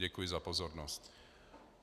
Děkuji za pozornost.